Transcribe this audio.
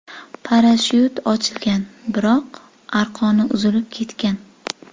Parashyut ochilgan, biroq arqon uzilib ketgan.